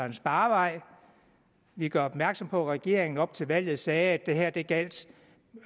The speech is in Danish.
en sparevej vi gør opmærksom på at regeringen op til valget sagde at det gjaldt